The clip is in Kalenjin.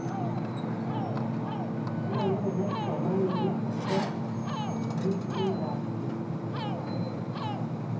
nyoluu konai kipsomaninik akobo kekonyit tukukab keny cheterter